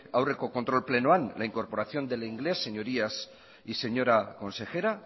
aurreko kontrol plenoan la incorporación del inglés señorías y señora consejera